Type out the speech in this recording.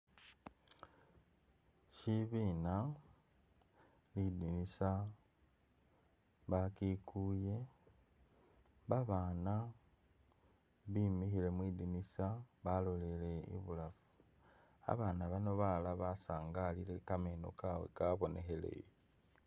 Shibina, lidinisa bakikuye babana bimikhile mwi’dinisa baloleleye ibulafu ,abana bano balala basangalile kameno kawe kabonekheleye.